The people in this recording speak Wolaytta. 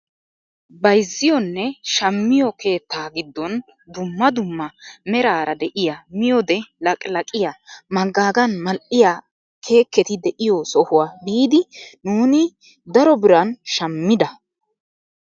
Bayzziyoonne shammiyoo keettaa giddon dumma dumma meraara deiyaa miyoode laqilaqiyaa manggaagan mal"iyaa keeketi de'iyoo sohuwaa biiidi nuuni daro biran shammida!